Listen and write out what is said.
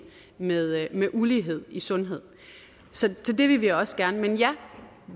med med ulighed i sundhed så det vil vi også gerne men ja